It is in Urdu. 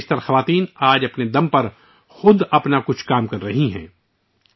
ان میں سے زیادہ تر خواتین آج کوئی نہ کوئی کام خود کر رہی ہیں